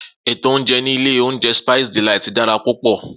Eto oúnjẹ ni ilé oúnjẹ Spice Delight dara púpọ.